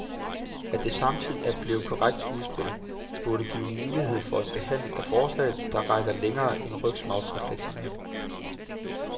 At det samtidig er blevet til et konkret udspil, burde give mulighed for en behandling af forslaget, der rækker længere end rygmarvsreflekserne.